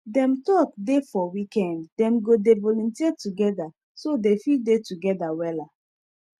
dem talk dey for weekend dem go dey volunteer togeda so dey fit dey together wella